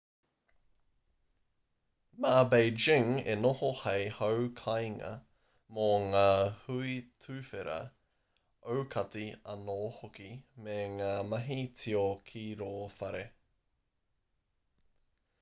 mā beijing e noho hei hau kāinga mō ngā hui tuwhera aukati anō hoki me ngā mahi tio ki rō whare